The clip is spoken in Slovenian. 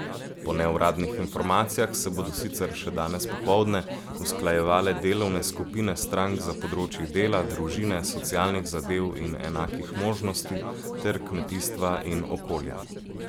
Po neuradnih informacijah se bodo sicer še danes popoldne usklajevale delovne skupine strank za področji dela, družine, socialnih zadev in enakih možnosti ter kmetijstva in okolja.